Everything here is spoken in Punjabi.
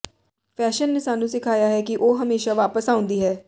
ਫੈਸ਼ਨ ਨੇ ਸਾਨੂੰ ਸਿਖਾਇਆ ਹੈ ਕਿ ਉਹ ਹਮੇਸ਼ਾ ਵਾਪਸ ਆਉਂਦੀ ਹੈ